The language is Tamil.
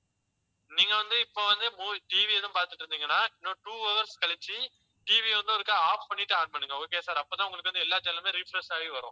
நீங்க வந்து இப்ப வந்து movieTV எதுவும் பார்த்துட்டு இருந்தீங்கன்னா இன்னும் two hours கழிச்சு TV ய வந்து ஒருக்கா off பண்ணிட்டு on பண்ணுங்க. okay sir அப்பதான் உங்களுக்கு வந்து எல்லா channel லுமே refresh ஆகி வரும்.